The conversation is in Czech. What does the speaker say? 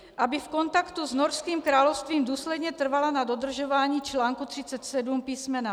Aby v kontaktu s Norským královstvím důsledně trvala na dodržování článku 37 písm.